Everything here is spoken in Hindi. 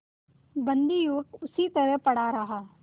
बंदी युवक उसी तरह पड़ा रहा